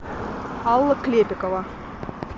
алла клепикова